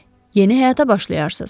Yeni həyata başlayarsız.